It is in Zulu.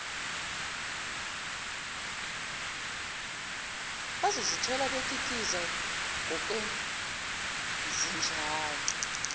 bazozithola bekikiza ngokwenzenjalo